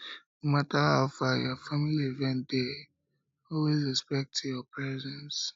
no matter how far you go family event dey always expect your presence